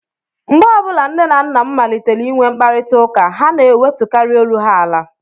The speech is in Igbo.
Mgbe ọ bụla nne na nna m malitere inwe mkparịtaụka, ha na-ewetukarị olu ha ala